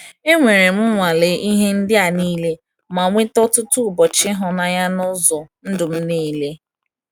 Enwerem nwalee ihe ndị a niile ma nweta ọtụtụ ụbọchị ịhụnanya n’ụzọ ndụ m niile.